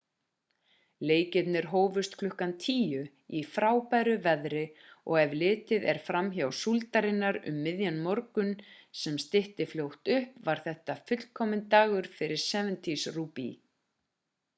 leikirnir hófust klukkan 10:00 í frábæru veðri og ef litið er framhjá súldarinnar um miðjan morgun sem stytti fljótt upp var þetta fullkominn dagur fyrir 7's rúgbý